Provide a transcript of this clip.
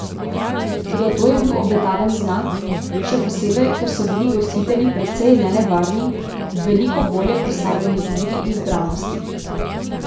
Toda to je bil obetaven znak, še posebej, ker so bili gostitelji precej nenevarni ob veliko bolje postavljeni igri in zbranosti.